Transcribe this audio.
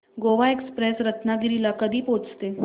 Goa express Ratnagiri ला कधी पोहचते